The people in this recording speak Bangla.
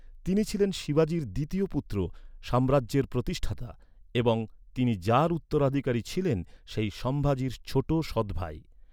তিনি ছিলেন শিবাজীর দ্বিতীয় পুত্র, সাম্রাজ্যের প্রতিষ্ঠাতা এবং তিনি যাঁর উত্তরাধিকারী ছিলেন সেই সম্ভাজির ছোট সৎ ভাই।